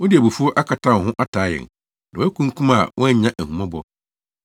“Wode abufuw akata wo ho ataa yɛn; na woakunkum a woannya ahummɔbɔ.